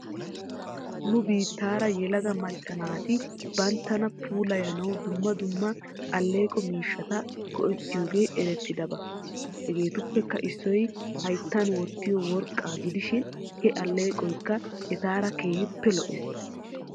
Ne biittaara yelaga mecca naati benttana puulayanaw dumma dumma aleeqo miishshata go'ettiyoogee erettidaba. Hegeetuppekka issoy hayttan wottiyoo worqqaa gidishin he alleeqoykka etaara keehippe lo'es.